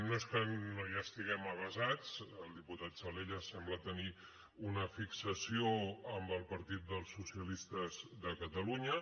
no és que no hi estiguem avesats el diputat salellas sembla tenir una fixació amb el partit dels socialistes de catalunya